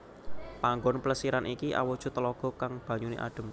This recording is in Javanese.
Panggon Plesiran iki awujud telaga kang banyuné adem